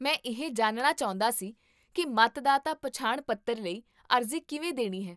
ਮੈਂ ਇਹ ਜਾਣਨਾ ਚਾਹੁੰਦਾ ਸੀ ਕੀ ਮਤਦਾਤਾ ਪਹਿਚਾਣ ਪੱਤਰ ਲਈ ਅਰਜ਼ੀ ਕਿਵੇਂ ਦੇਣੀ ਹੈ